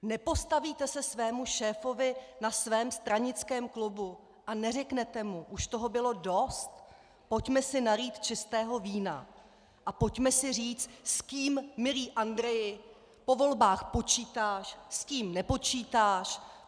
Nepostavíte se svému šéfovi na svém stranickém klubu a neřeknete mu "už toho bylo dost, pojďme si nalít čistého vína a pojďme si říct s kým, milý Andreji, po volbách počítáš, s kým nepočítáš"?